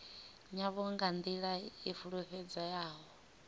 yavho nga nḓila i fulufhedzeaho